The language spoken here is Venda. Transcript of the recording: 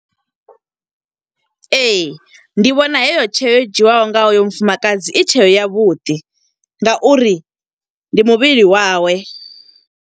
Ee, ndi vhona heyo tsheo, yo dzhiwaho nga hoyo mufumakadzi i thero ya vhuḓi, nga uri ndi muvhili wawe.